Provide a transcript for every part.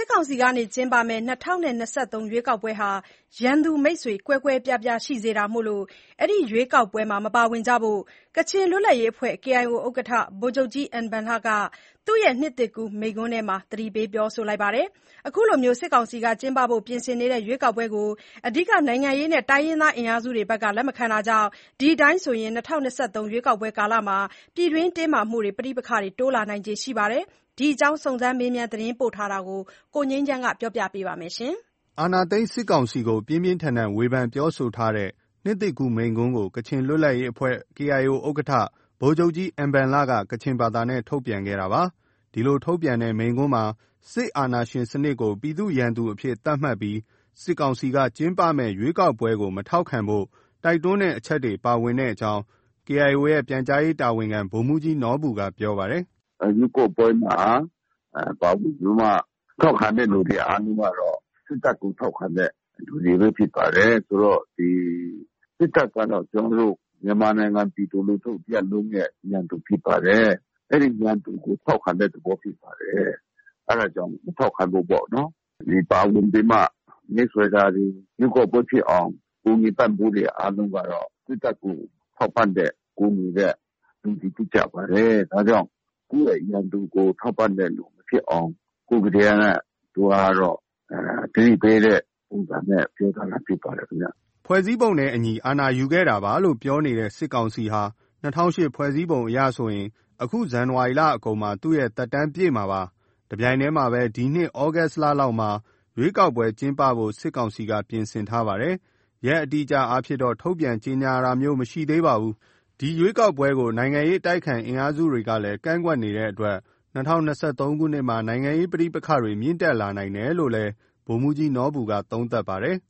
စ်ကောင်စီကကျင်းပမယ့် ၂၀၂၃ ရွေးကောက်ပွဲဟာ ရန်သူ မိတ်ဆွေ ကွဲကွဲပြားပြားရှိစေဖို့ ဒီရွေးကောက်ပွဲမှာမပါဝင်ကြဖို့ ကချင်လွတ်လပ်ရေးအဖွဲ့ KIO ဥက္ကဋ္ဌ ဗိုလ်ချုပ်ကြီး အင်ဘန်လက သူရဲ့နှစ်သစ်ကူးမိန့်ခွန်းထဲမှာ သတိပေးထားပါတယ်။ အခုလို စစ်ကောင်စီကပြင်ဆင်နေတဲ့ ရွေးကောက်ပွဲကို အဓိကနိုင်ငံရေးနဲ့တိုင်းရင်းသားအင်အားစုတွေက လက်မခံတာကြောင့် ဒီအတိုင်းဆိုရင် ၂၀၂၃ ရွေးကောက်ပွဲကာလမှာ ပြည်တွင်းတင်းမာမှုတွေ၊ ပဋိပက္ခတွေ တိုးလာနိုင်ခြေရှိပါတယ်။ ဒီအကြောင်း စုံစမ်းမေးမြန်းသတင်းပေးပို့ချက်ကို ကိုငြိမ်းချမ်းက တင်ပြပေးထားပါတယ်။ အာဏာသိမ်းစစ်ကောင်စီကို ပြင်းပြင်းထန်ထန်ဝေဖန်ပြောဆိုထားတဲ့ နှစ်သစ်ကူးမိန့်ခွန်းကို ကချင်လွတ်လပ်ရေးအဖွဲ့ KIO ဥက္ကဋ္ဌ ဗိုလ်ချုပ်ကြီး အင်ဘန်လက ကချင်ဘာသာနဲ့ ထုတ်ပြန်ခဲ့တာပါ။ ဒီလို ထုတ်ပြန်တဲ့မိန့်ခွန်းမှာ စစ်အာဏာရှင်စနစ်ကို ပြည်သူ့ရန်သူအဖြစ် သတ်မှတ်ပြီး စစ်ကောင်စီက ကျင်းပမယ့် ရွေးကောက်ပွဲကိုမထောက်ခံဖို့ တိုက်တွန်းတဲ့အချက်တွေ ပါဝင်ကြောင်း KIO ရဲ့ ပြန်ကြားရေးတာဝန်ခံ ဗိုလ်မှူးကြီးနော်ဘူက ပြောပါတယ်။ “ ရွေးကောက်ပွဲမှာပါဝင်ပြီးမှ ထောက်ခံတဲ့သူတွေအားလုံးကတော့ စစ်တပ်ကို ထောက်ခံတဲ့သူတွေပဲ ဖြစ်ပါတယ်။ ဆိုတော့ ဒီ စစ်တပ်ကတော့ မြန်မာနိုင်ငံပြည်သူလူထုတရပ်လုံးရဲ့ ရန်သူဖြစ်ပါတယ်။ အဲဒီရန်သူကို ထောက်ခံတဲ့သဘောဖြစ်ပါတယ်။ အဲဒါကြောင့် မထောက်ခံဖို့ပေါ့နော်။ ပါဝင်ပြီးမှ မဲဆွယ်တောတွေ၊ ရွေးကောက်ပွဲဖြစ်အောင် ကူညီပံ့ပိုးတာတွေ အားလုံးကတော့ စစ်တပ်ကို ထောက်ပံ့တဲ့၊ ကူညီတဲ့ လူတွေဖြစ်ကြပါတယ်။ ဒါကြောင့်ကိုယ့်ရဲ့ ရန်သူကို ထောက်ပံ့တဲ့သူမဖြစ်အောင်။ ခုတည်းက သူကတော့ သတိပေးတဲ့ ပုံစံနဲ့ ပြောသွားတာဖြစ်ပါတယ်ခင်ဗျ။” ဖွဲ့စည်းပုံနဲ့အညီ အာဏာယူခဲ့တာပါလို့ ပြောနေတဲ့ စစ်ကောင်စီဟာ ၂၀၀၈ ဖွဲ့စည်းပုံအရဆိုရင် အခု ဇန်နဝါရီလအကုန်မှာ သူ့ သက်တမ်းပြည့်မှာပါ။ တပြိုင်တည်းမှာလည်းပဲ ဒီနှစ် သြဂုတ်လလောက်မှာ ရွေးကောက်ပွဲကျင်းပဖို့ စစ်ကောင်စီက ပြင်ဆင်ထားပါတယ်။ အတိအအကျရက်အားဖြင့်တော့ ထုတ်ပြန်ကြေညာတာမျိုးမရှိသေးပါဘူး။ ဒီရွေးကောက်ပွဲကို နိုင်ငံရေးအတိုက်အခံအင်အားစုတွေကလည်း ကန့်ကွက်နေတဲ့အတွက် ၂၀၂၃ ခုနှစ်မှာ နိုင်ငံရေးပဋိပက္ခတွေ မြင့်တက်လာနိုင်တယ်လို့လည်း ဗိုလ်မှူးကြီးနော်ဘူက သုံးသပ်ပါတယ်။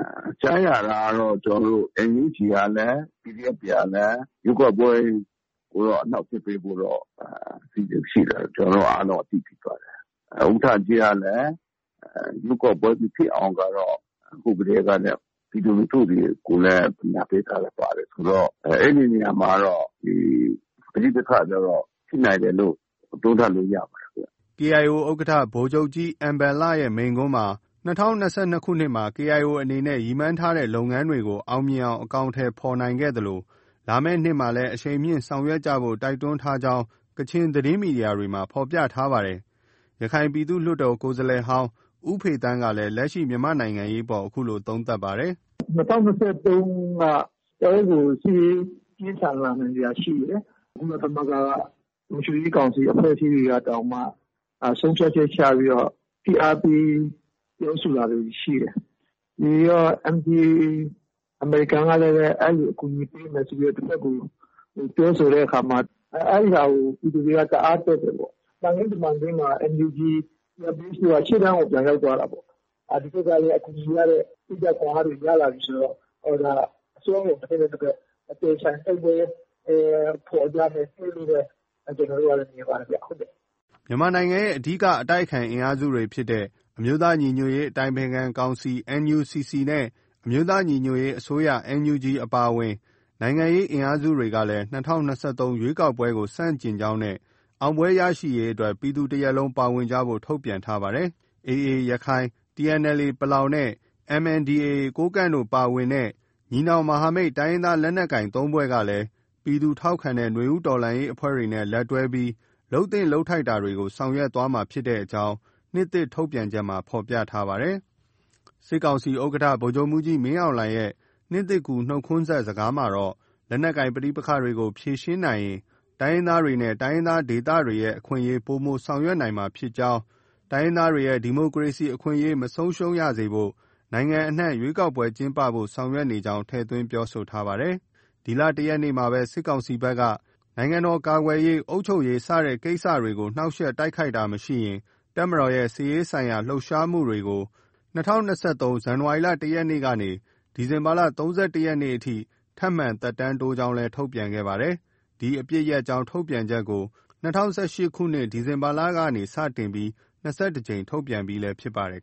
“ ကြားရတာကတော့ NUG ကလည်း၊ PDF တွေကလည်း ရွေးကောက်ပွဲကိုတော့အနှောင့်အယှက်ပေးဖို့ အစီအစဉ်ရှိတယ်ဆိုတာ ကျနော်တို့အားလုံး အသိဖြစ်ပါတယ်။ ဥက္ကဋ္ဌကြီးကလည်း ရွေးကောက်ပွဲမဖြစ်အောင်ကတော့ ခုကတည်းကနေ ပြည်သူလူထုကိုလည်း ပညာပေးထားတာပါတယ်ဆိုတော့ အဲဒီနေရာမှာကတော့ ပဋိပက္ခတွေကတော့ ဖြစ်နိုင်တယ်လို့ သုံးသပ်လို့ ရပါတယ်ဗျ။” KIO ဥက္ကဋ္ဌ ဗိုလ်ချုပ်ကြီး အင်ဘန်လရဲ့မိန့်ခွန်းမှာ ၂၀၂၂ ခုနှစ်မှာ KIO အနေနဲ့ ရည်မှန်းထားတဲ့လုပ်ငန်းတွေကို အောင်မြင်အောင် အကောင်အထည်ဖော်နိုင်ခဲ့သလို လာမယ့်နှစ်မှာလည်း အရှိန်မြှင့်ဆောင်ရွက်ကြဖို့ တိုက်တွန်းထားကြောင်းလည်း ကချင်သတင်းမီဒီယာတွေမှာ ဖော်ပြထားပါတယ်။ ရခိုင်ပြည်သူ့လွှတ်တော်ကိုယ်စားလှယ်ဟောင်း ဦးဖေသန်းကလည်း လက်ရှိမြန်မာ့နိုင်ငံရေးအပေါ် အခုလို သုံးသပ်ပါတယ်။ “ ၂၀၂၃ က တော်တော်ကို စစ်ရေး ပြင်းထန်လာနိုင်စရာရှိတယ်။ ကုလသမဂ္ဂက လုံခြုံရေးကောင်စီအဖွဲ့အစည်းတွေကတောင်မှ ဆုံးဖြတ်ချက်ချပြီး ဖိအားပေးပြောဆိုတာတွေ ရှိတယ်။ ပြီးတော့ NDAA အမေရိကန်ကလည်း အဲလို အကူအညီပေးမယ်ဆို တဘက်ကို ပြောဆိုတဲ့အခါမှာ အဲဒီဟာကို ပြည်သူတွေက တအားတက်တယ်ပေါ့။ သံခင်းတမန်ခင်း NUG CRPH တို့က ရှေ့တန်းကို ပြန်ရောက်သွားတာပေါ့။ ဒီဘက်ကလည်း အကူအညီရတယ်၊ စိတ်ဓါတ်ခွန်အားတွေ ရလာပြီဆိုတော့ အစွမ်းကုန် တဘက်နဲ့ တဘက် အပြိုင်အဆိုင် တိုက်ပွဲ ဖော်ကြမယ့်နှစ်လို့ ကျနော်တို့က မြင်ပါတယ်ဗျ။” မြန်မာနိုင်ငံရဲ့ အဓိကအတိုက်အခံအင်အားစုဖြစ်တဲ့ အမျိုးသားညီညွတ်ရေး အတိုင်ပင်ခံကောင်စီ NUCC နဲ့ အမျိုးသားညီညွတ်ရေးအစိုးရ NUG အပါအဝင် နိုင်ငံရေးအင်အားစုတွေကလည်း ၂၀၂၃ ရွေးကောက်ပွဲကို ဆန့်ကျင်ကြောင်းနဲ့ အောင်ပွဲရရှိရေးအတွက် ပြည်သူတရပ်လုံးပါဝင်ကြဖို့ ထုတ်ပြန်ထားပါတယ်။ AA ရခိုင်၊ TNLA ပလောင်နဲ့ MNDAA ကိုးကန့်တို့ပါဝင်တဲ့ ညီနောင်မဟာမိတ် တိုင်းရင်းသားလက်နက်ကိုင် ၃ ဖွဲ့က ပြည်သူထောက်ခံတဲ့ နွေဦးတော်လှန်ရေးအဖွဲ့တွေနဲ့ လက်တွဲပြီး လုပ်သင့်လုပ်ထိုက်တာတွေ ဆောင်ရွက်သွားမှာဖြစ်ကြောင်း နှစ်သစ်ထုတ်ပြန်ချက်မှာ ဖော်ပြထားပါတယ်။ စစ်ကောင်စီဥက္ကဋ္ဌ ဗိုလ်ချုပ်မှူးကြီးမင်းအောင်လှိုင်ရဲ့ နှစ်သစ်ကူးနှုတ်ခွန်းဆက်စကားမှာတော့ လက်နက်ကိုင်ပဋိပက္ခတွေကို ဖြေရှင်းနိုင်ရင် တိုင်းရင်းသားတွေနဲ့ တိုင်းရင်းသားဒေသတွေရဲ့ အခွင့်အရေး ပိုမိုဆောင်ရွက်နိုင်မှာဖြစ်ကြောင်း၊ တိုင်းရင်းသားတွေရဲ့ ဒီမိုကရေစီအခွင့်အရေးမဆုံးရှုံးစေဖို့ နိုင်ငံအနှံ့ ရွေးကောက်ပွဲကျင်းပဖို့ ဆောင်ရွက်နေကြောင်း ထည့်သွင်းပြောဆိုထားပါတယ်။ ဒီလ ၁ ရက်နေ့မှာပဲ စစ်ကောင်စီဘက်က နိုင်ငံတော်ကာကွယ်ရေး၊ အုပ်ချုပ်ရေး စတဲ့ ကိစ္စတွေကို နှောင့်ယှက်တိုက်ခိုက်တာမရှိရင် တပ်မတော်ရဲ့ စစ်ရေးဆိုင်ရာလှုပ်ရှားမှုတွေကို ၂၀၂၃ ဇန်နဝါရီလ ၁ ရက်နေ့ကနေ ဒီဇင်ဘာလ ၃၁ ရက်နေ့ထိ ထပ်မံ သက်တမ်းတိုးကြောင်း ထုတ်ပြန်ခဲ့ပါတယ်။ ဒီအပစ်ရပ်ကြောင်း ထုတ်ပြန်ချက်ကို ၂၀၁၈ ခုနှစ် ဒီဇင်ဘာလကနေ စတင်ပြီး ၂၁ ကြိမ် ထုတ်ပြန်ပြီးလည်း ဖြစ်ပါတယ်